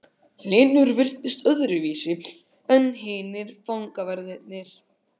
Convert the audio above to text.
Hlynur virtist öðruvísi en hinir fangaverðirnir.